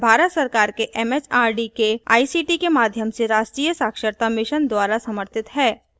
यह भारत सरकार के एमएचआरडी के आईसीटी के माध्यम से राष्ट्रीय साक्षरता mission द्वारा समर्थित है